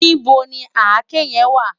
Nibó ni àké yèn wá?